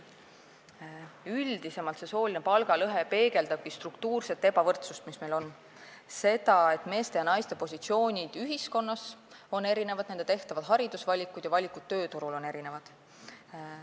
Üldisemalt peegeldabki sooline palgalõhe struktuurset ebavõrdsust, mis meil on, seda, et meeste ja naiste positsioonid ühiskonnas on erinevad, nende tehtavad haridusvalikud ja valikud tööturul on erinevad.